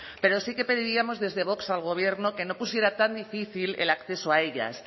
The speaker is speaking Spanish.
pero sí que pediríamos desde vox al gobierno que no pusiera tan difícil el acceso a ellas